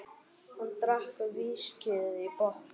Hann drakk viskíið í botn.